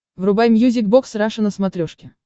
врубай мьюзик бокс раша на смотрешке